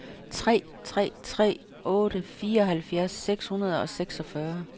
tre tre tre otte fireoghalvfjerds seks hundrede og seksogfyrre